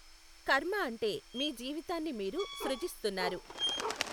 కర్మ అంటే మీ జీవితాన్ని మీరు సృజిస్తున్నారు.